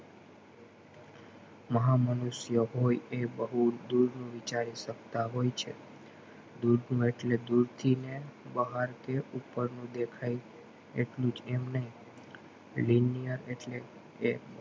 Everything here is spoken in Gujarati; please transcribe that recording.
મહામનુષ્ય હોય એ બહુ દૂર નું વિચારી સકતા હોય છે દૂરનું એટલે દૂરથી ને બહારથી કે ઉપરનું દેખાતું એટલું જ એમ નહિ linear એટલે એ